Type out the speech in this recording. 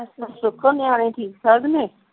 ਸੁੱਕੋ ਨਿਆਣੇ ਠੀਕ ਠਾਕ ਨੇ ਠੀਕ ਠਾਕ ਨੇ